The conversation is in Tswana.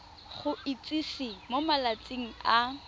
go itsise mo malatsing a